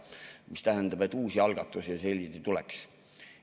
See tähendab, et uusi algatusi tuleks.